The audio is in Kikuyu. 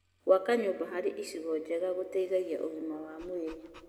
Gwaka nyũmba harĩ icigo njega gũteithagia ũgima wa mwĩrĩ.